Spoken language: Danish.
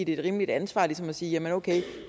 et rimeligt ansvar ligesom at sige jamen okay